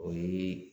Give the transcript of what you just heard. O ye